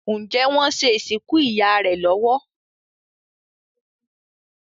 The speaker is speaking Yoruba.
Njé wón ṣe ìsìnkú ìyá rẹ lówó?